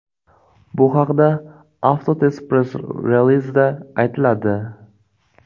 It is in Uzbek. Bu haqda Avtotest press-relizida aytiladi.